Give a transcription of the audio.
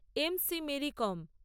M C Mary com